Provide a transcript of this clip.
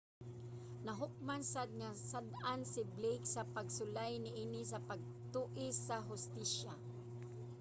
nahukman sad nga sad-an si blake sa pagsulay niini sa pag-tuis sa hustisya